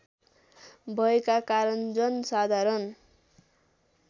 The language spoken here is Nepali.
भयका कारण जनसाधारण